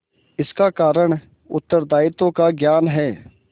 इसका कारण उत्तरदायित्व का ज्ञान है